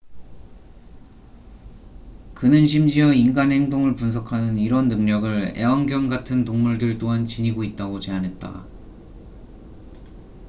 그는 심지어 인간 행동을 분석하는 이런 능력을 애완견 같은 동물들 또한 지니고 있다고 제안했다